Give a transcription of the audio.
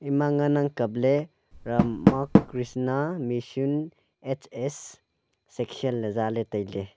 ema ngan ang kapley Rama Krishna mission H_S section le zale tailey.